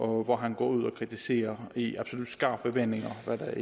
hvor han går ud og kritiserer i absolut skarpe vendinger hvad det er